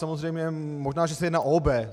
Samozřejmě možná, že se jedná o obé.